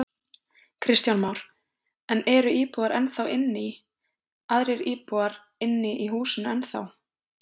Kristján Már: En eru íbúar ennþá inni í, aðrir íbúar inni í húsinu ennþá?